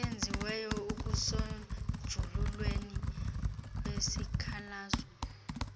eyenziweyo ekusonjululweni kwesikhalazo